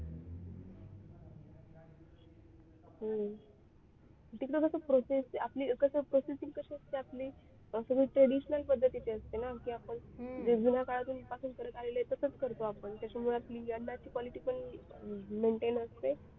हम्म तिकडे कसा process आपली कसं processing कसे असते आपली असं traditional पद्धतीची असते ना की आपण जे जुन्या काळापासून करत आलेलो आहोत तसेच करतो आपण त्याच्यामुळे आपली अन्नाची quality पण maintain असते.